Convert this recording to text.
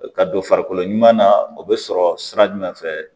Ka don farikolo ɲuman na o bɛ sɔrɔ sira jumɛn fɛ